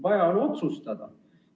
Vaja on otsustada.